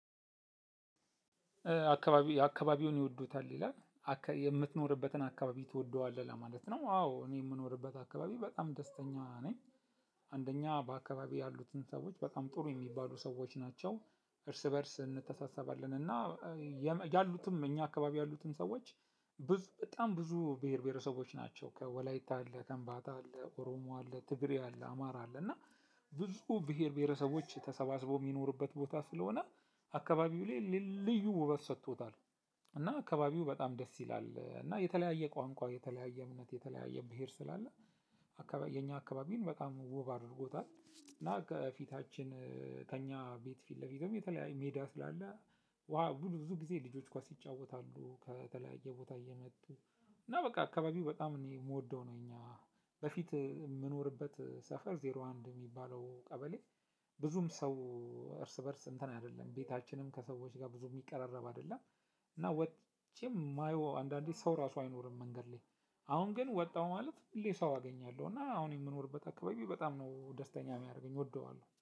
አካባቢ አካባቢውን ይወዱታል ይላል? የምትኖርበትን አካባቢ ትወደዋለህ ለማለት ነው? አዎ እኔ የምኖርበት አካባቢ በጣም ደስተኛ ነኝ። አንደኛ በአካባቢ ያሉትን ሰዎች በጣም ጥሩ የሚባሉ ሰዎች ናቸው። እርስ በእርስ እንተሳሰባለን እና ያሉትም እኛ አካባቢ ያሉትን ሰዎች። ብዙ በጣም ብዙ ብሄር ብሄረሰቦች ናቸው ከወላይታ አለ ከከምባታ አለ ኦሮሞ አለ ትግሬ አለ አማራ አለ እና ብዙ ብሄር ብሄረሰቦች ተሰባስበው የሚኖሩበት ቦታ ስለሆነ አካባቢው ላይ ልዩ ውበት ሰጥቶታል። እና አካባቢው በጣም ደስ ይላል እና የተለያየ ቋንቋ የተለያየ እምነት የተለያየ ብሄር ስላለ። የኛ አካባቢን በጣም ውብ አድርጎታል። እና ከፊታችን ከኛ ቤት ፊት ለፊትም የተለያየ ሜዳ ስላለ ብዙ ብዙ ጊዜ ልጆች ኳስ ይጫወታሉ። ከተለያየ ቦታ እየመጡ እና በቃ አካባቢው በጣም እኔ የምወደው ነው። እኛ በፊት የምኖርበት ሰፈር ዜሮ አንድ የሚባለው ቀበሌ። ብዙም ሰው እርስ በእርስ እንትን አይደለም ቤታችንም ከሰዎች ጋር ብዙ የሚቀራረብ አይደለም። እና ወጥቼ የማየው አንዳንዴ ሰው ራሱ አይኖርም መንገድ ላይ። አሁን ግን ወጣሁ ማለት ሁሌ ሰው አገኛለሁ እና አሁን የምኖርበት አካባቢ በጣም ነው ደስተኛ የሚያደርገኝ እወደዋለሁ